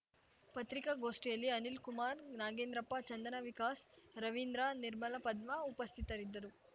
ಪತ್ರಿಕಾಗೋಷ್ಠಿಯಲ್ಲಿ ಅನಿಲ್‌ಕುಮಾರ್‌ ನಾಗೇಂದ್ರಪ್ಪ ಚಂದನ ವಿಕಾಸ್‌ ರವೀಂದ್ರ ನಿರ್ಮಲ ಪದ್ಮ ಉಪಸ್ಥಿತರಿದ್ದರು